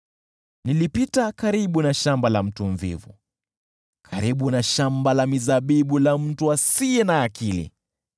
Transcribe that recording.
Nilipita karibu na shamba la mvivu, karibu na shamba la mizabibu la mtu asiye na akili,